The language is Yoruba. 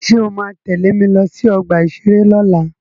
Ṣé o ma tẹ́lẹ̀ mi lọ sí ọgbà-ìṣeré lọ́la?